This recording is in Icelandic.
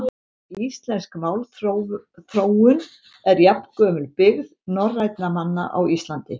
Íslensk málþróun er jafngömul byggð norrænna manna á Íslandi.